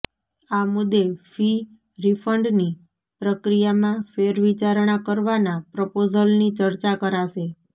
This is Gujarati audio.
આ મુદ્દે ફી રિફંડની પ્રક્રિયામાં ફેરવિચારણા કરવાના પ્રપોઝલની ચર્ચા કરાશે